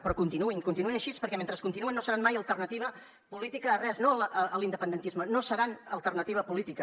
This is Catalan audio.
però continuïn continuïn així perquè mentre continuen no seran mai alternativa política a res no a l’independentisme no seran alternativa política